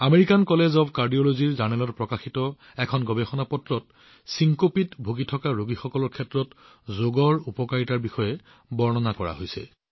American college of কাৰ্ডিঅলজীৰ জাৰ্নেলত প্ৰকাশিত এখন কাকতত চিনকোপত ভুগি থকা ৰোগীসকলৰ বাবে যোগৰ লাভালাভৰ বিষয়ে বৰ্ণনা কৰা হৈছে